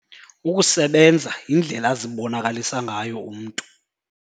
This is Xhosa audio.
Ukusebenza yindlela azibonakalisa ngayo umntu.